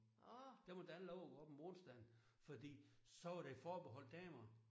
Der måtte han ikke have lov at gå op om onsdagen fordi så var det forbeholdt damer